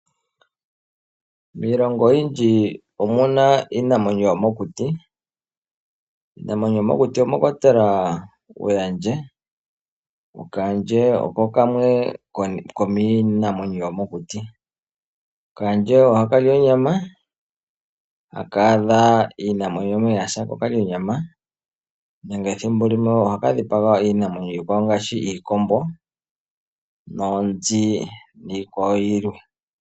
Miilongo oyindji omuna iinamwenyo yomokuti mwakwatelwa ookandje. Kaandje oko kamwe komiinamwenyo yomokuti oha kali onyama uuna kaadha iinamwenyo yasa eta kali nenge thimbo limwe ohaka dhipaga iinamwenyo iikwawo ngaashi iikombo, oonzi niikwawo yilwe.